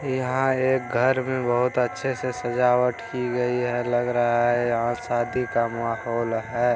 यहाँ एक घर में बहुत अच्छे से सजावट की गयी है। लग रहा है यहाँ शादी का माहौल है।